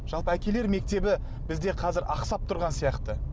жалпы әкелер мектебі бізде қазір ақсап тұрған сияқты